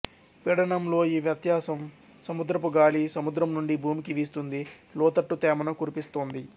పీడనంలో ఈ వ్యత్యాసం సముద్రపు గాలి సముద్రం నుండి భూమికి వీస్తుంది లోతట్టు తేమను కురిపిస్తోంది